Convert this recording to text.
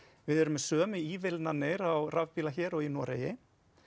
við erum með sömu á rafbíla hér og í Noregi